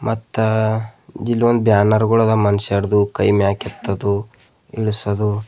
ಮತ್ತ ಇಲ್ಲೊಂದ್ ಬ್ಯಾನರ್ಗುಳದ ಮನುಷ್ಯರ್ದು ಕೈ ಮ್ಯಾಕೆತ್ತದು ಇಳ್ಸದು.